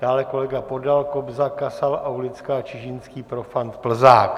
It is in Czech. Dále kolega Podal, Kobza, Kasal, Aulická, Čižinský, Profant, Plzák.